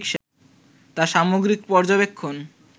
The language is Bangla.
তাঁর সামগ্রিক পর্যবেক্ষণ